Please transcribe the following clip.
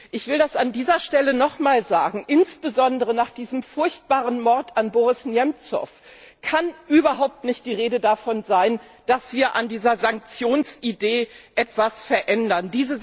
Ich will es an dieser Stelle noch mal sagen Insbesondere nach diesem furchtbaren Mord an Boris Nemzow kann überhaupt nicht die Rede davon sein, dass wir an dieser Sanktionsidee etwas verändern.